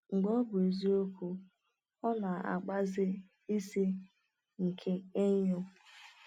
Mgbe ọ bụ eziokwu, ọ na-agbaze ice nke enyo.